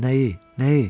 Nəyi?